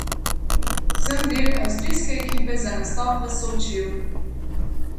Sem del avstrijske ekipe za nastop v Sočiju!